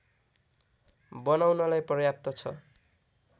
बनाउनलाई पर्याप्त छ